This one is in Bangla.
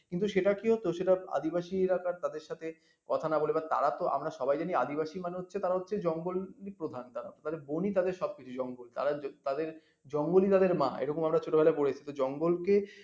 কিন্তু সেটা কেও তো আদিবাসীরা তাদের সাথে কথা না বলে তা তো আমরা সবাই জানি আদিবাসী মানে হচ্ছে তারা হচ্ছে জঙ্গল প্রধান তারা তাদের বনই সবকিছু জঙ্গল তাদের জঙ্গলই তাদের মা এরকম আমরা ছোটবেলায় পড়েছি জঙ্গল কে